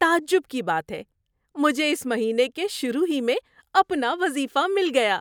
تعجب کی بات ہے! مجھے اس مہینے کے شروع ہی میں اپنا وظیفہ مل گیا!